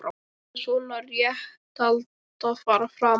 En hvar ætti svona réttarhald að fara fram?